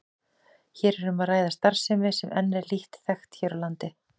Hér er um að ræða starfsemi sem enn er lítt þekkt hér á landi.